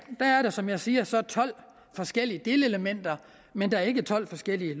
er der som jeg siger så tolv forskellige delelementer men der er ikke tolv forskellige